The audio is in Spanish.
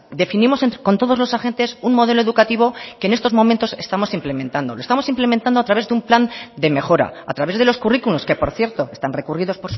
definimos con todos los agentes un modelo educativo que en estos momentos estamos implementando lo estamos implementando a través de un plan de mejora a través de los currículos que por cierto están recurridos